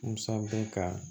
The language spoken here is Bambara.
N san bɛ ka